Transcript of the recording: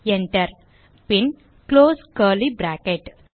Enter பின் close curly bracket